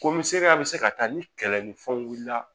Komi seriya bɛ se ka taa ni kɛlɛ ni fɛnw wulila